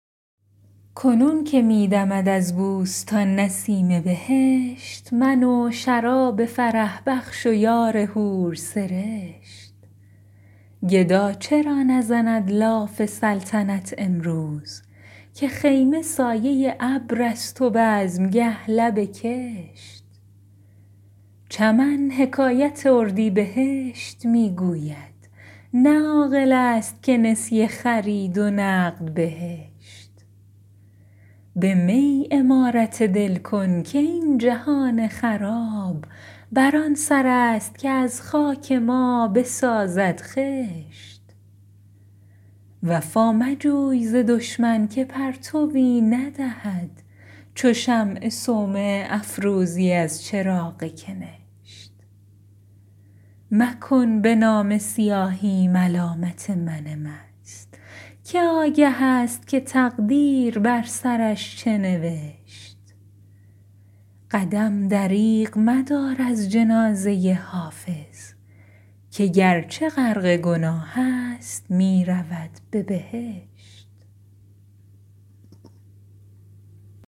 کنون که می دمد از بوستان نسیم بهشت من و شراب فرح بخش و یار حورسرشت گدا چرا نزند لاف سلطنت امروز که خیمه سایه ابر است و بزمگه لب کشت چمن حکایت اردیبهشت می گوید نه عاقل است که نسیه خرید و نقد بهشت به می عمارت دل کن که این جهان خراب بر آن سر است که از خاک ما بسازد خشت وفا مجوی ز دشمن که پرتوی ندهد چو شمع صومعه افروزی از چراغ کنشت مکن به نامه سیاهی ملامت من مست که آگه است که تقدیر بر سرش چه نوشت قدم دریغ مدار از جنازه حافظ که گرچه غرق گناه است می رود به بهشت